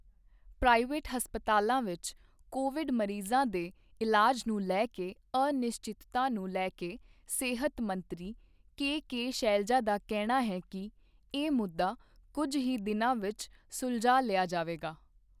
Private ਹਸਪਤਾਲਾਂ ਵਿੱਚ Covid ਮਰੀਜ਼ਾਂ ਦੇ ਇਲਾਜ ਨੂੰ ਲੈ ਕੇ ਅਨਿਸ਼ਚਿਤਤਾ ਨੂੰ ਲੈ ਕੇ ਸਿਹਤ ਮੰਤਰੀ ਕੇ ਕੇ ਸ਼ੈਲਜਾ ਦਾ ਕਹਿਣਾ ਹੈ ਕਿ ਇਹ ਮੁੱਦਾ ਕੁਝ ਹੀ ਦਿਨਾਂ ਵਿੱਚ ਸੁਲਝਾ ਲਿਆ ਜਾਵੇਗਾ।